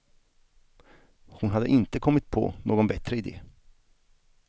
Hon hade inte kommit på någon bättre idé.